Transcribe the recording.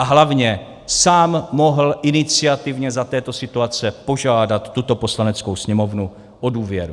A hlavně sám mohl iniciativně za této situace požádat tuto Poslaneckou sněmovnu o důvěru.